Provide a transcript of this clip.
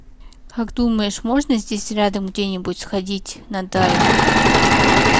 как думаешь можно здесь рядом где нибудь сходить на дайвинг